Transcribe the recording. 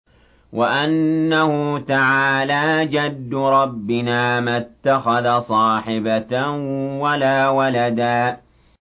وَأَنَّهُ تَعَالَىٰ جَدُّ رَبِّنَا مَا اتَّخَذَ صَاحِبَةً وَلَا وَلَدًا